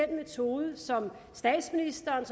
den metode som statsministeren